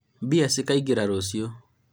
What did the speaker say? mbia cikaingĩra rũciũ